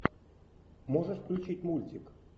можешь включить мультик